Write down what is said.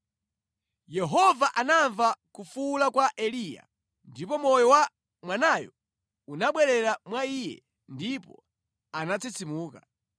Yehova anamva kufuwula kwa Eliya, ndipo moyo wa mwanayo unabwerera mwa iye ndipo anatsitsimuka.